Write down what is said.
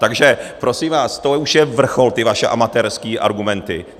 Takže prosím vás, to už je vrchol, ty vaše amatérské argumenty!